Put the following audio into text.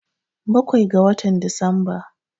Bakwai ga watan Disamba.